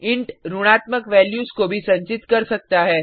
int ऋणात्मक values को भी संचित कर सकता है